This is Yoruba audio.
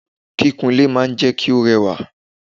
Kíkún ilé máa ń jẹ́ kí ó rẹwà.